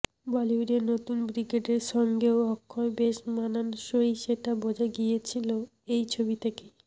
বলিউডের নতুন ব্রিগেডের সঙ্গেও অক্ষয় বেশ মানানসই সেটা বোঝা গিয়েছিল এই ছবি থেকেই